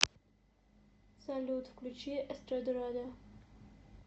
салют включи эстрадарада